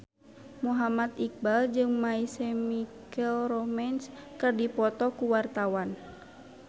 Muhammad Iqbal jeung My Chemical Romance keur dipoto ku wartawan